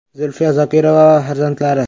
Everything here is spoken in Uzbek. Zulfiya Zokirova va farzandlari.